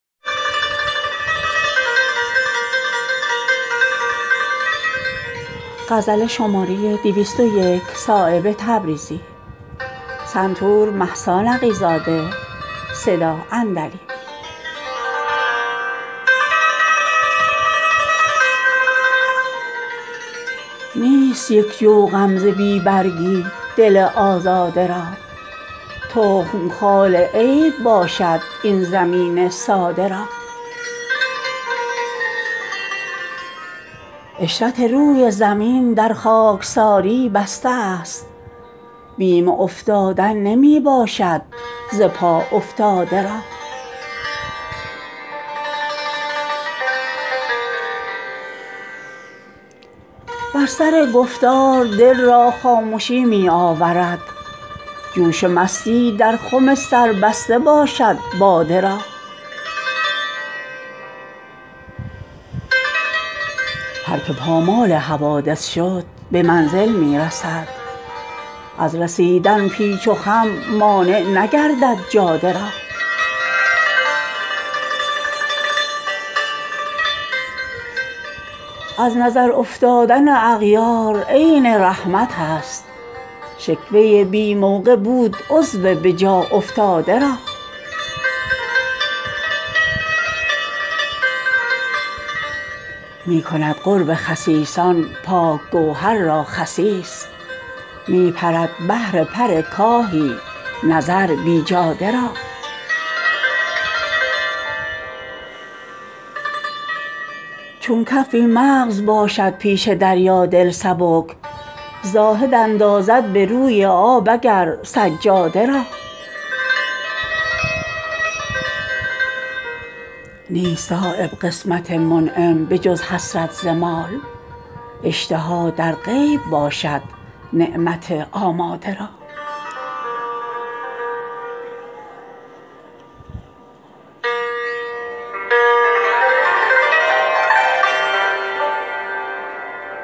نیست یک جو غم ز بی برگی دل آزاده را تخم خال عیب باشد این زمین ساده را عشرت روی زمین در خاکساری بسته است بیم افتادن نمی باشد ز پا افتاده را بر سر گفتار دل را خامشی می آورد جوش مستی در خم سربسته باشد باده را هر که پامال حوادث شد به منزل می رسد از رسیدن پیچ و خم مانع نگردد جاده را از نظر افتادن اغیار عین رحمت است شکوه بی موقع بود عضو به جا افتاده را می کند قرب خسیسان پاک گوهر را خسیس می پرد بهر پر کاهی نظر بیجاده را چون کف بی مغز باشد پیش دریا دل سبک زاهد اندازد به روی آب اگر سجاده را نیست صایب قسمت منعم به جز حسرت ز مال اشتها در غیب باشد نعمت آماده را